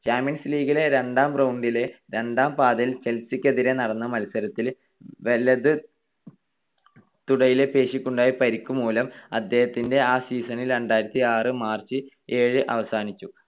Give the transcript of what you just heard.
Champions ലീഗിലെ രണ്ടാം റൗണ്ടിലെ രണ്ടാം പാദത്തിൽ ചെൽസിക്കെതിരായി നടന്ന മത്സരത്തിൽ വലതു തുടയിലെ പേശിക്കുണ്ടായ പരിക്കുമൂലം അദ്ദേഹത്തിന്റെ ആ season ൽ രണ്ടായിരത്തിയാറ്‌ March ഏഴിന് അവസാനിച്ചു.